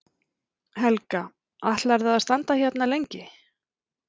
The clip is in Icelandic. Helga: Ætlarðu að standa hérna lengi?